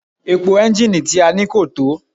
Epo ẹ́ńjínnìì tí a ní kò tó.